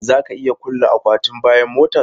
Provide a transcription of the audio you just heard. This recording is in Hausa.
Za ka iya kulle akwatin bayan motar?